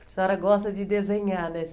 A senhora gosta de desenhar, né?